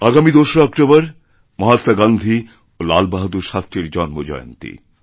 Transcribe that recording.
আগামী ২রা অক্টোবর মহাত্মা গান্ধী এবং লাল বাহাদুরশাস্ত্রীর জন্মজয়ন্তী